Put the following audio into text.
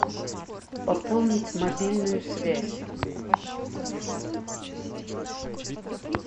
пополнить мобильную связь